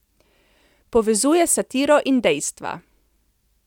Povezuje satiro in dejstva.